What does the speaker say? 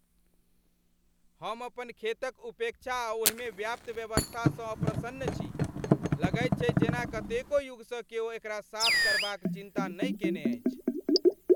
हम अपन खेत क उपेक्षा आ ओहिमे व्याप्त अव्यवस्था सँ अप्रसन्न छी। लगैत छैक जेना कतेको युग सँ क्यो एकरा साफ करबाक चिन्ता नहि केने अछि।